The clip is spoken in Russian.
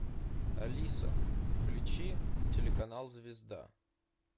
алиса включи телеканал звезда